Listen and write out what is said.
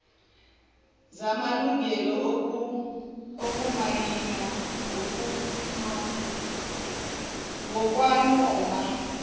zamalungelo okumayina ngokwanoma